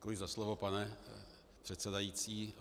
Děkuji za slovo, pane předsedající.